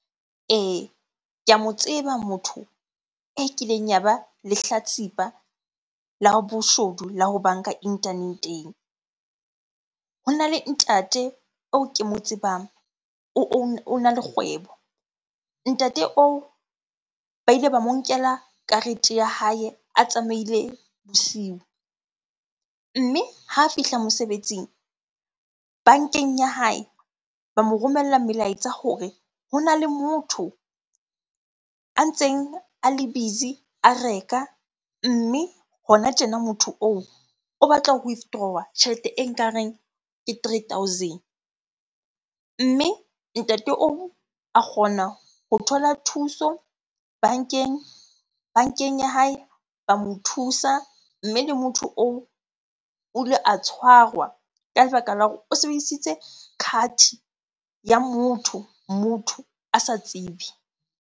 Ee, ke a mo tseba motho e kileng ya ba lehlatsipa la boshodu, la ho banka internet-eng. Hona le ntate oo ke mo tsebang, ona le kgwebo. Ntate oo ba ile ba mo nkela karete ya hae a tsamaile bosiu. Mme ha fihla mosebetsing, bankeng ya hae ba mo romella melaetsa hore hona le motho a ntseng a le busy a reka. Mme hona tjena motho oo, o batla ho withdrawer tjhelete e nka reng ke three thousand. Mme ntate oo a kgona ho thola thuso bankeng, bankeng ya hae ba mo thusa. Mme le motho oo o ile a tshwarwa ka lebaka la hore o sebedisitse card ya motho, motho a sa tsebe.